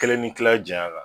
Kelen ni kila jayan kan